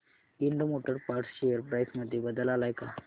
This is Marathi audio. Ind motor parts share price मध्ये बदल आलाय का